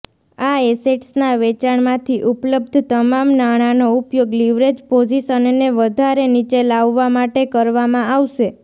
આ એસેટ્સના વેચાણમાંથી ઉપલબ્ધ તમામ નાણાનો ઉપયોગ લિવરેજ પોઝિશનને વધારે નીચે લાવવા માટે કરવામાં આવશે